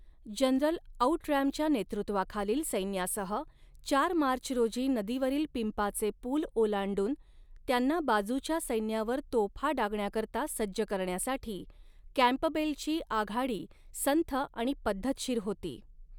General आऊटरॅमच्या नेतृत्वाखालील सैन्यासह चार मार्च रोजी नदीवरील पिंपाचे पूल ओलांडून, त्यांना बाजूच्या सैन्यावर तोफा डागण्याकरता सज्ज करण्यासाठी, कँपबेलची आघाडी संथ आणि पद्धतशीर होती.